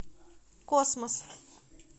космос